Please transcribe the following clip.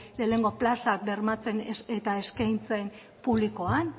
lehenengo plazak bermatzen eta eskaintzen publikoan